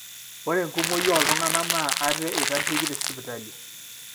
ore enkumoi ooltung'anak naa ate eitasheiki te sipitali